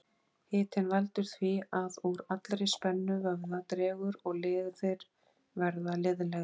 Hitinn veldur því að úr allri spennu vöðva dregur og liðir verða liðlegri.